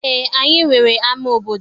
Eé, anyị nwere ama obodo.